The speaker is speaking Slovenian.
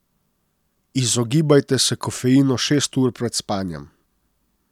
Izogibajte se kofeinu šest ur pred spanjem.